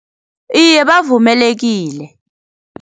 Iye bavumelekile.